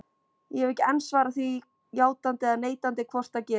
Ég hef ekki enn svarað því játandi eða neitandi hvort það gerist.